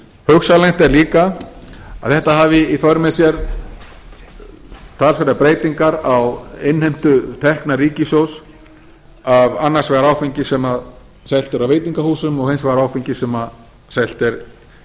hugsanlegt er líka að þetta hafi í för með sér talsverðar breytingar á innheimtu tekna ríkissjóða af annars vegar áfengi sem selt er á veitingahúsum og hins vegar áfengi sem selt er